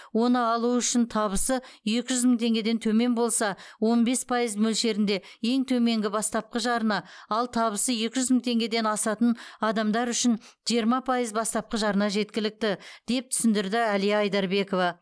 оны алу үшін табысы екі жүз мың теңгеден төмен болса он бес пайыз мөлшерінде ең төменгі бастапқы жарна ал табысы екі жүз мың теңгеден асатын адамдар үшін жиырма пайыз бастапқы жарна жеткілікті деп түсіндірді әлия айдарбекова